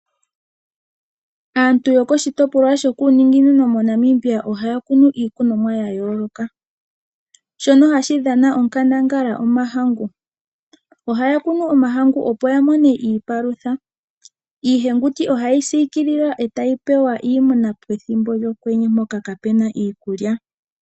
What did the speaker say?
Aantu yokoshitopla shokuuninginino moNamibia ohaya kunu iikunomwa ya yooloka. Shono hashi dhana onkandangala osho omahangu. Ohaya kunu omahangu opo ya mone iipalutha. Iihenguti oha ye yi siikilile e tayi pewa iimuna pethimbo lyokwenye mpoka kaa pu na iikulya.